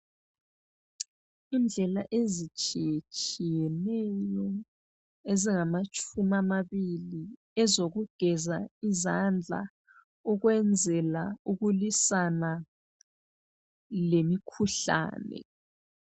Indlela ezitshiyetshiyeneyo ezingamatshumi amabili ezokugeza izandla ukwenzela ukulwisana lemikhuhlane.